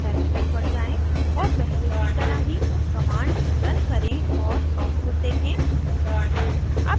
terminal पर जाएँ और पहले की तरह ही कमांड रन करें और आउटपुट देखें